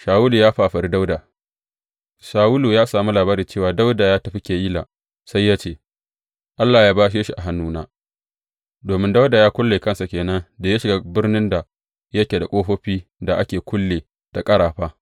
Shawulu ya fafari Dawuda Shawulu ya sami labari cewa Dawuda ya tafi Keyila, sai ya ce, Allah ya bashe shi a hannuna, domin Dawuda ya kulle kansa ke nan da ya shiga birnin da yake da ƙofofin da ake kulle da ƙarafa.